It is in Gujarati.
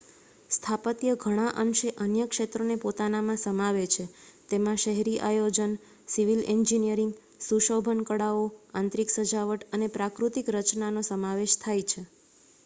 સ્થાપત્ય ઘણા અંશે અન્ય ક્ષેત્રો ને પોતાનામાં સમાવે છે તેમાં શહેરી આયોજન સિવિલ એન્જીનિયરિંગ શુશોભન કળાઓ આંતરિક સજાવટ અને પ્રાકૃતિક રચનાનો સમાવેશ થાય છે